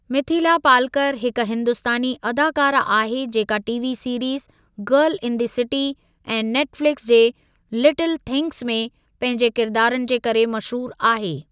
मिथीला पालकर हिकु हिंदुस्तानी अदाकारह आहे जेका TV series girl in the city ऐं नेट फ़लिकस जे लिटिल थिंग्स में पंहिंजे किरदारनि जे करे मशहूरु आहे।